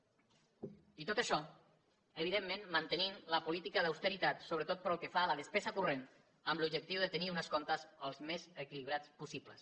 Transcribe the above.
i tot això evidentment mantenint la política d’austeritat sobretot pel que fa a la despesa corrent amb l’objectiu de tenir uns comptes al més equilibrats possible